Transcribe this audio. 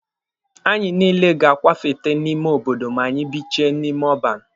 Anyị niile ga-akwafete n'ime obodo ma anyị bichaa n'ebe ọban.